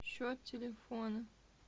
счет телефона